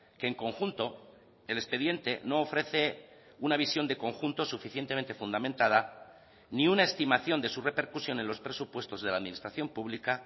que en conjunto el expediente no ofrece una visión de conjunto suficientemente fundamentada ni una estimación de su repercusión en los presupuestos de la administración pública